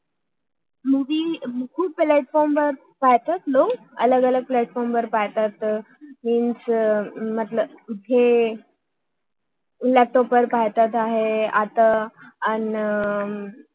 movie खूप platform वेळ पाहतातलोक अलग अलग प्लॅटफॉर्म platform वेळ पाहतात म्हणजे लॅपटॉप laptop वेळ पाहतात आहे